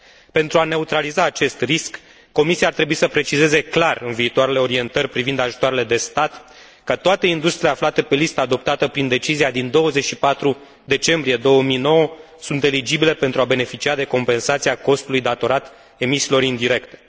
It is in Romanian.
Pentru a neutraliza acest risc, Comisia ar trebuie să precizeze clar în viitoarele orientări privind ajutoarele de stat că toate industriile aflate pe lista adoptată prin decizia din 24 decembrie 2009 sunt eligibile pentru a beneficia de compensația costului datorat emisiilor indirecte.